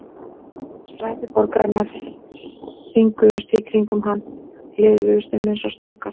Stræti borgarinnar hringuðust í kringum hann, liðuðust um eins og snákar.